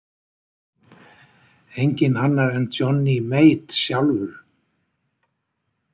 Enginn annar en Johnny Mate sjálfur.